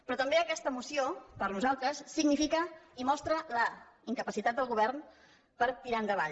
però també aquesta moció per nosaltres significa i mostra la incapacitat del govern per tirar endavant